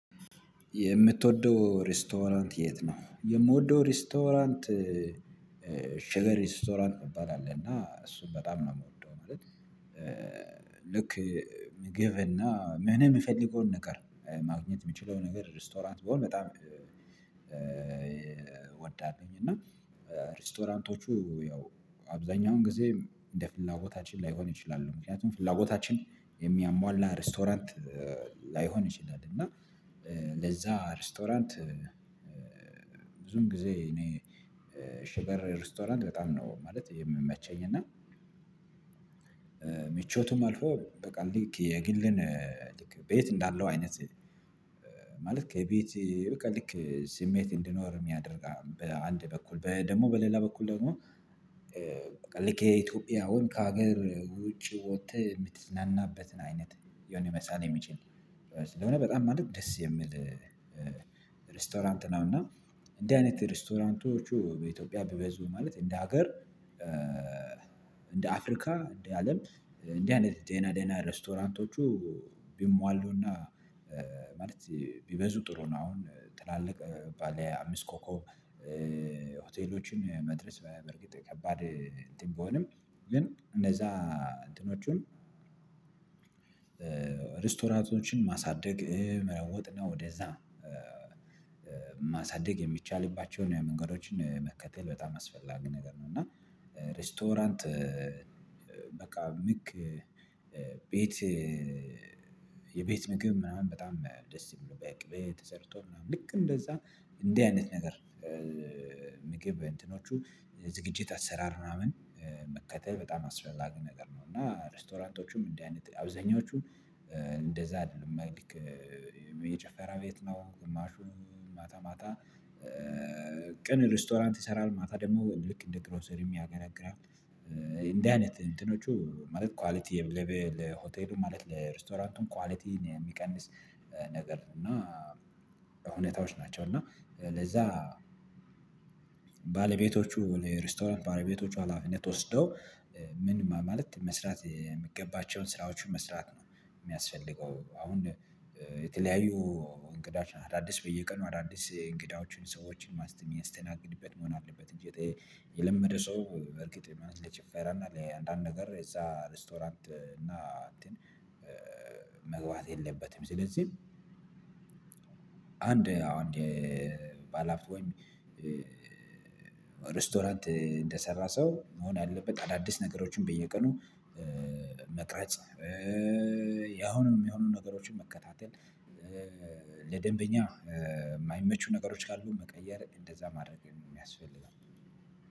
የምትወደው ሬስቶራንት የት? ነው የምወደው ሬስቶራንት ሸገር ሬስቶራንት እሚባል አለና እና እሱን በጣም ነው የምወደው ማለት። ልክ ምግብና ምንም የምፈልገውን ነገር ማግኘት የምችለው ነገር ሬስቶራንት ቢሆነ በጣም እወዳለሁኝ። እና ሬስቶራንቶቹ ያው አብዛኛውን ጊዜ እንደ ፍላጎታችን ላይሆን ይችላሉ ምክንያቱም ፍላጎታችን የሚያሟላ ሬስቶራንት ላይሆን ይችላል። እና ለዛ ሬስቶራንት ብዙም ጊዜ እኔ ሽገር ሬስቶራንት በጣም ነው ማለት የሚመቸኝ እና። ምቾትም አልፎ በቃ ልክ የግሌን ልክ ቤት እንዳለው አይነት ማለት ከቤት በቃ ልክ ስሜት እንድኖር የሚያደርግ በአንድ በኩል ደግሞ በሌላ በኩል ደግሞ ልክ የኢትዮጵያውን ከሀገር ውጪ ወተህ የምትዝናናበትን አይነት የሆነ መሳል የሚችል ስለሆነ በጣም ማለት ደስ የሚል ሬስቶራንት ነው። እና እንዲ አይነት ሬስቶራንቶቹ በኢትዮጵያ ቢበዙ ማለት እንደ ሀገር እንደ አፍሪካ እንደ አለም እንዲ አይነት ደና ደና ሬስቶራንቶቹ ቢሟሉና ማለት ቢበዙ ጥሩ ነው። አሁን ትላልቅ ባለ አምስት ኮኮብ ሆቴሎችን መድረስ በርግጥ ከባድ እንትን ቢሆንም ግን እንደዛ እንትኖቹን ሬስቶራንቶችን ማሳደግ መለወጥ ነው ወደዛ ማሳደግ የሚቻልባቸውን የመንገዶችን መከተል በጣም አስፈላጊ ነገር ነው። እና ሬስቶራንት በቃ ልክ ቤት የቤት ምግብ ምናምን በጣም ደስ የሚለው በቅቤ ተሰርቶ ምናምን ልክ እንደዛ እንዲህ አይነት ነገር እንትኖቹ ዝግጅት አሰራር ምናምን መከተል በጣም አስፈላጊ ነገር ነው። እና ሬስቶራንቶቹም እንዲህ አይነት አብዛኛዎቹም እንደዛ አይደሉም የጨፈራ ቤት ነው። ግማሹ ማታ ማታ ቀን ሬስቶራንት ይሰራል ማታ ደግሞ ልክ እንደ ግሮሰሪ የገለግላል እንደዚህ አይነት እንትኖቹ ማለት ኳሊቲ ሆቴሉ ማለት ለሬስቶራንቱም ኳሊቲን የሚቀንስ ነገር እና እውነታዎች ናቸው። እና ለዛ ባለቤቶቹ ለሬስቶራንት ባለቤቶቹ ሀላፊነት ወስደው ምን ማለት መስራት የምገባቸውን ስራዎችን መስራት ነው የሚያስፈልገው አሁን የተለያዩ እንግዳችን አዳዲስ በየቀኑ አዳዲስ እንግዳዎችን ሰዎችን ማስተ የሚያስተናግድበት መሆን አለበት። እንጂ የለመደ ሰው በርግጥ ለጭፈራ እና ለአንዳንድ ነገር እዛ ሬስቶራንት እና እንትን መግባት የለበትም። ስለዚህ አንድ አንድ ባለ አፍት ወይም ሬስቶራንት እንደሰራ ሰው መሆን ያለበት አዳዲስ ነገሮችን በየቀኑ መቅራጽ መቅረጽ ያሁንም የሚሆኑ ነገሮችን መከታተል ለደንበኛ የማይመቹ ነገሮች ካሉ መቀየር እንደዛ ማድረግ የሚያስፈልገው